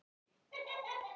Nóttin er köld.